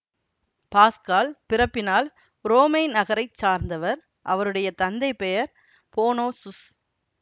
pascal பிறப்பினால் உரோமை நகரை சார்ந்தவர் அவருடைய தந்தை பெயர் போனோசுஸ்